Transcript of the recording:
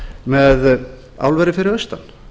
með álverið fyrir austan